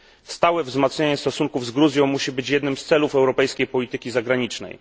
Stałe wzmacnianie stosunków z Gruzją musi być jednym z celów europejskiej polityki zagranicznej.